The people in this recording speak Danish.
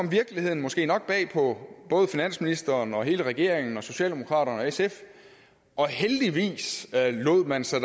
at virkeligheden måske nok kom bag på både finansministeren og hele regeringen og socialdemokraterne og sf og heldigvis lod man sig